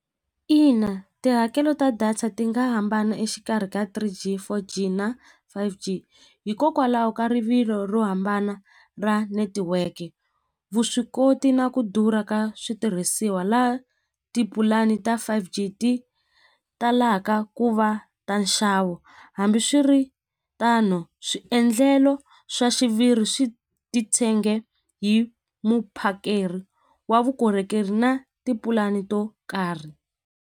Ina tihakelo ta data ti nga hambana exikarhi ka three G four G na five G hikokwalaho ka rivilo ro hambana ra network vuswikoti na ku durha ka switirhisiwa la tipulani ta five G ti talaka ku va ta nxavo hambiswiritano swiendlelo swa xiviri swi titshege hi muphakeri wa vukorhokeri na tipulani to karhi.